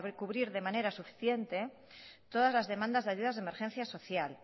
cubrir de manera suficiente todas las demandas de ayudas de emergencia social